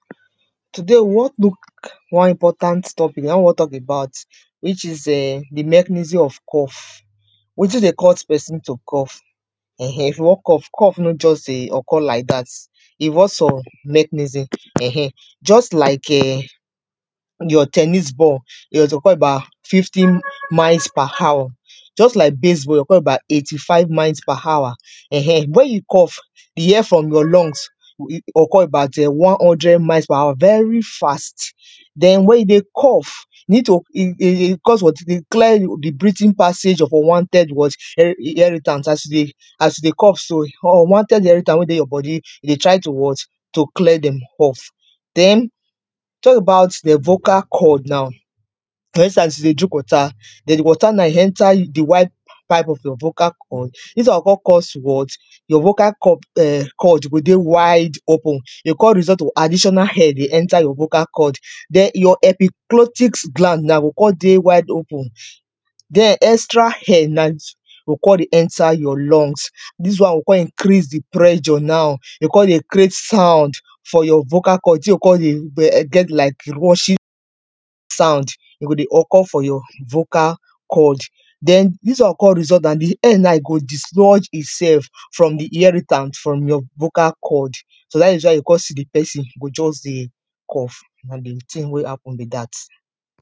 today we wan look one important topic, na im wan talk about, which is um the mechanism of cough, wetin dey cuss persin to cough, um if you wan cough, cough no just dey occur like that, e involve some mechanism um just like um your ten nis ball, te occur bout fifty miles per hour, just like baseball dey occur about eighty five miles per hour um, when you cough, the air from your lungs will occur about one hundred miles per hour, very fast, then wen you dey cough, you need to um, cos of um um clear the unwanted breathing passage of what as you dey cough so, unwanted air, we dey your bodi, dey try to what, to clear them off, then, te about de vocal cord now,, as you dey drink wota, de wota now enta the wide part of your brocha cord, your vocal cord go dey wide open, dey con result to additional air dey enta your vocal cord, then your epiglotis gland now go con dey wide open, den extra air now go con dey enta your lungs dis one go con increase the pressure now, he con dey create sound for your vocal cord, the thing con dey get like rushing sound, go dey occur for your vocal cord, den this one go con result and the air now e go dislodge itself from the airitank from your vocal cord, so dat is why you con see the pesin just dey cough, na the tin wey happen be that.